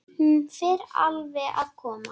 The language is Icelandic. Hún fer alveg að koma.